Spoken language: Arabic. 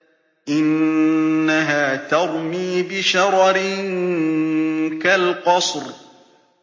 إِنَّهَا تَرْمِي بِشَرَرٍ كَالْقَصْرِ